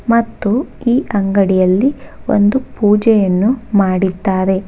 ಮತ್ತು ಈ ಅಂಗಡಿಯಲ್ಲಿ ಒಂದು ಪೂಜೆಯನ್ನು ಮಾಡಿದ್ದಾರೆ.